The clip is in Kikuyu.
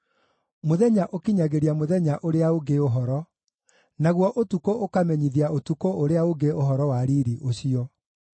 Mũthenya ũkinyagĩria mũthenya ũrĩa ũngĩ ũhoro; naguo ũtukũ ũkamenyithia ũtukũ ũrĩa ũngĩ ũhoro wa riiri ũcio.